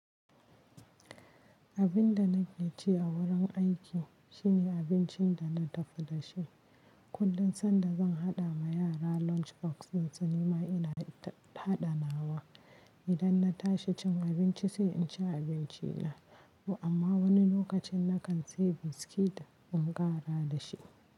Abin da na keci a wurin aiki shine abincin da na tafi da shi. Kullum sanda zan haɗa ma yara lunchbox dinsu, nima ina daita haɗa nawa. Idan na tashi cin abinci sai in ci abinci na. Amma wani lokacin na kan sayi biskit in ƙara da shi.